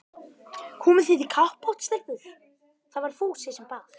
Komið þið í kappát stelpur? það var Fúsi sem bað.